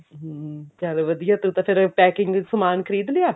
ਹਮ ਚੱਲ ਵਧੀਆ ਤੂੰ ਤਾਂ ਫ਼ੇਰ packing ਸਮਾਨ ਖਰੀਦ ਲਿਆ